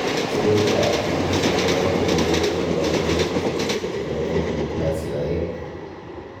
Sirutikab Human Phenotype Ontology kokonu koborunoikchu chebo Omodysplasia oeng'.